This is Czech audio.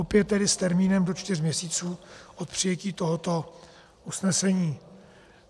Opět tedy s termínem do čtyř měsíců od přijetí tohoto usnesení.